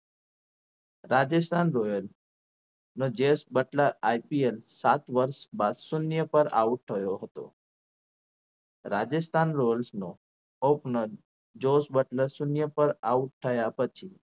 Rajasthan Royal નો ચેસ Buttler IPL સાત વરસ બાદ શૂન્ય પર out થયો હતો રાજસ્થાન રોયલ્સનો open ચોસ બટલર શૂન્ય પર out થયા પછી